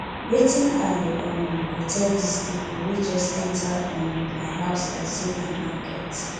wetin i um go tell dese pipo wey just enta um my house like sey na market